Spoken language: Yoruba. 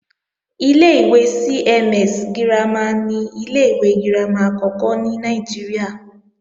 Ilé-ìwé CMS girama ni ilé-ìwé girama àkọ́kọ́ ní Nàìjíríà